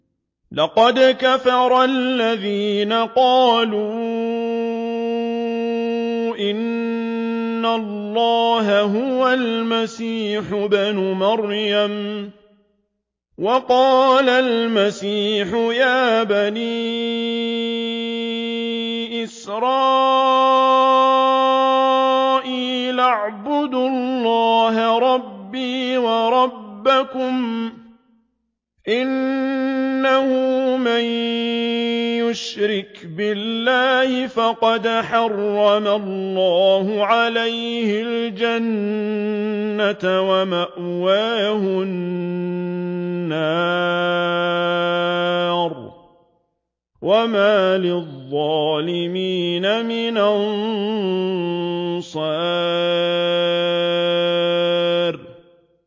لَقَدْ كَفَرَ الَّذِينَ قَالُوا إِنَّ اللَّهَ هُوَ الْمَسِيحُ ابْنُ مَرْيَمَ ۖ وَقَالَ الْمَسِيحُ يَا بَنِي إِسْرَائِيلَ اعْبُدُوا اللَّهَ رَبِّي وَرَبَّكُمْ ۖ إِنَّهُ مَن يُشْرِكْ بِاللَّهِ فَقَدْ حَرَّمَ اللَّهُ عَلَيْهِ الْجَنَّةَ وَمَأْوَاهُ النَّارُ ۖ وَمَا لِلظَّالِمِينَ مِنْ أَنصَارٍ